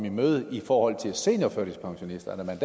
i møde i forhold til seniorførtidspensionisterne